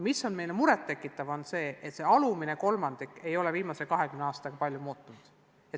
Eriti muret tekitav on aga see, et alumise kolmandiku tulemused ei ole viimase 20 aastaga palju muutunud.